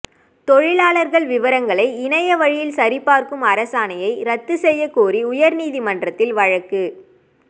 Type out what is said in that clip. தொழிலாளா் விவரங்களை இணையவழியில் சரிபாா்க்கும் அரசாணையை ரத்து செய்யக் கோரி உயா்நீதிமன்றத்தில் வழக்கு